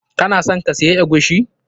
Kana son ka siya eguisi?